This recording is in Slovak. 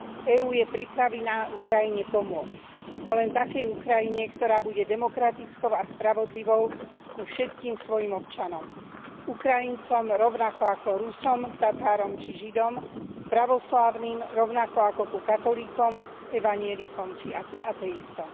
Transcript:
EÚ je pripravená Ukrajine pomôcť, no len takej Ukrajine, ktorá bude demokratickou a spravodlivou ku všetkým svojim občanom, Ukrajincom rovnako ako Rusom, Tatárom či Židom, pravoslávnym rovnako ako ku katolíkom, evanjelikom či ateistom.